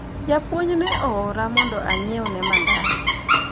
japuonj ne oora mondo anyiewne mandas